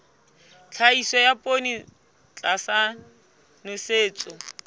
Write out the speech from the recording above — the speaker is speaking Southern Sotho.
tlhahiso ya poone tlasa nosetso